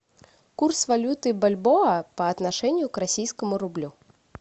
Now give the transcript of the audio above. курс валюты бальбоа по отношению к российскому рублю